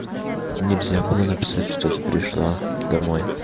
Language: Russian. нельзя было написать что ты пришла домой